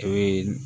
O ye